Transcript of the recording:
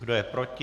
Kdo je proti?